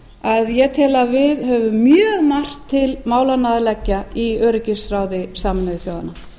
að ég tel að við höfum mjög margt til málanna að leggja í öryggisráði sameinuðu þjóðanna